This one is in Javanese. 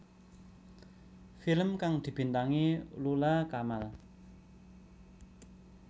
Film kang dibintangi Lula Kamal